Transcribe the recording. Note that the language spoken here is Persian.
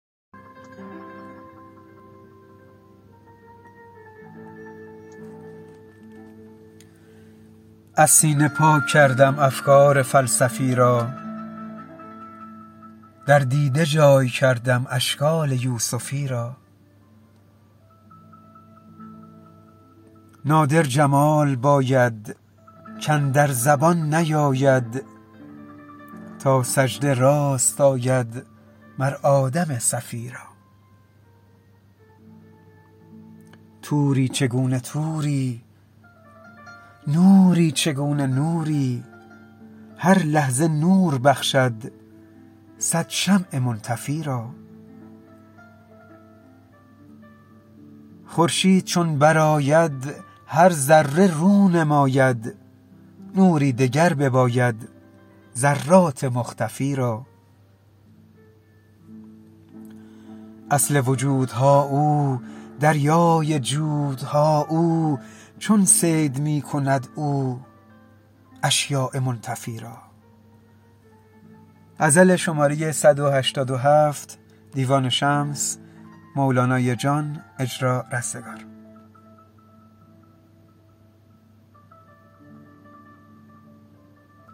از سینه پاک کردم افکار فلسفی را در دیده جای کردم اشکال یوسفی را نادر جمال باید کاندر زبان نیاید تا سجده راست آید مر آدم صفی را طوری چگونه طوری نوری چگونه نوری هر لحظه نور بخشد صد شمع منطفی را خورشید چون برآید هر ذره رو نماید نوری دگر بباید ذرات مختفی را اصل وجودها او دریای جودها او چون صید می کند او اشیاء منتفی را